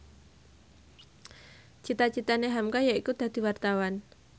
cita citane hamka yaiku dadi wartawan